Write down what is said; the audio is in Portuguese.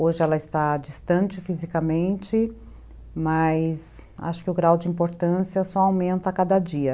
Hoje ela está distante fisicamente, mas acho que o grau de importância só aumenta a cada dia.